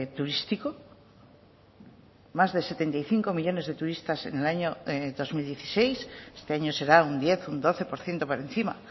turístico más de setenta y cinco millónes de turistas en el año dos mil dieciséis este año será un diez un doce por ciento por encima